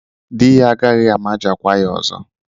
Di ya agaghị amajakwa ya ọzọ.